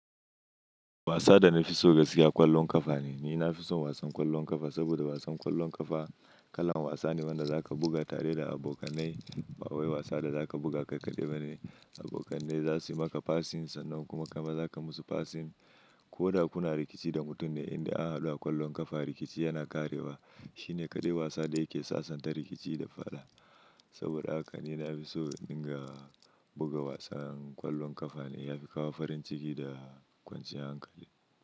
Wasa da na fi so gaskiya ƙwallon ƙafa ne. Ni na fi son wasan ƙwallon ƙafa saboda wasan ƙwallon ƙafa kalan wasa ne wanda zaka buga tare da abokanai. Bawwai wasa da zaka buga kai kaɗai bane. Abokanai za su yi maka passing sannan kuma kuma zaka musu passing ko da kuna rikici da mutum ne, inda a hadu a ƙwallon ƙafa rikici yana ƙarewa. Shi ne ƙadai wasa da yake sasanta rikici da fada. Saboda haka ni na fi so in ga buga wasan ƙwallon ƙafa ne. Ya fi kawo farin ciki da kwanciyar hankali.